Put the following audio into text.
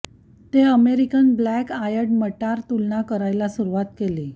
ते American black eyed मटार तुलना करायला सुरुवात केली